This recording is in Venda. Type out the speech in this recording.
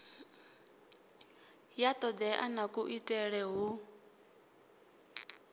ya todea na kuitele hu